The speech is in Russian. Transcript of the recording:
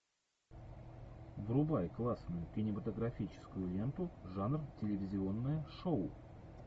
врубай классную кинематографическую ленту жанр телевизионное шоу